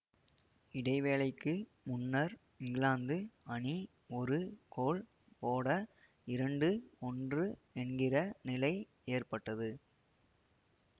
இடைவேளைக்கு முன்னர் இங்கிலாந்து அணி ஒரு கோல் போட இரண்டுஒன்று என்கிற நிலை ஏற்பட்டது